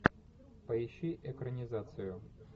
поищи экранизацию